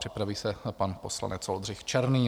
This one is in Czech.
Připraví se pan poslanec Oldřich Černý.